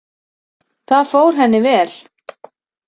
Það fór henni vel.